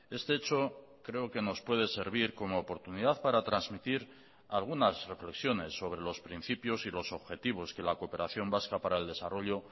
este hecho creo que nos puede servir como oportunidad para transmitir algunas reflexiones sobre los principios y los objetivos que la cooperación vasca para el desarrollo